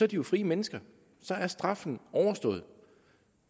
de jo frie mennesker så er straffen overstået